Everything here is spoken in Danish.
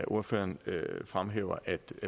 ordføreren fremhæver at